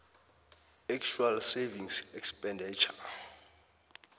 actual savings expenditure